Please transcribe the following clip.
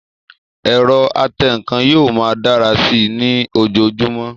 Ẹ̀rọ atẹǹkan yóò máa dára sí i ní ojojúmọ́